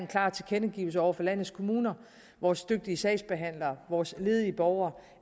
klart tilkendegiver over for landets kommuner vores dygtige sagsbehandlere vores ledige borgere